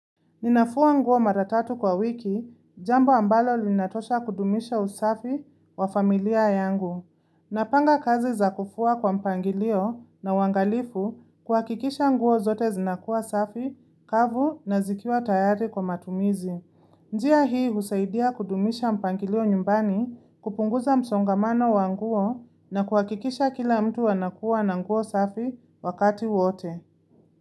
Ninafua nguo mara tatu kwa wiki, jambo ambalo linatosha kudumisha usafi wa familia yangu. Napanga kazi za kufua kwa mpangilio na uwangalifu kuhakikisha nguo zote zinakuwa safi, kavu na zikiwa tayari kwa matumizi. Njia hii husaidia kudumisha mpangilio nyumbani kupunguza msongamano wa nguo na kuhakikisha kila mtu anakuwa na nguo safi wakati wote.